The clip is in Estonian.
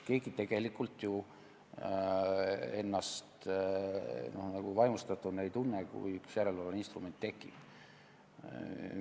Keegi tegelikult ju vaimustust ei tunne, kui üks järelevalveinstrument juurde tekib.